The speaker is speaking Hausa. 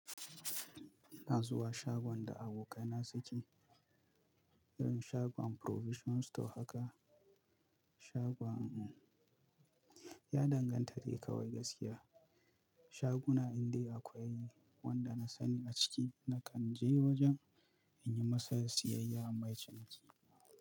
Ina zuwa shagon da abokaina suke, irin shagon provision store haka. Shagon ya danganta da ya kawai gaskiya. Shaguna indai akwai wanda na sani a ciki nakan je wajen in yi masa siyayya mai ciki.